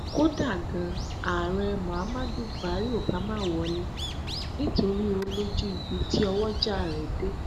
kódà ganan ààrẹ muhammadu buhari ò bá má wọlé nítorí ó lójú ibi tí ọwọjà rẹ dé